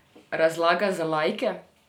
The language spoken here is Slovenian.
Razlaga za laike?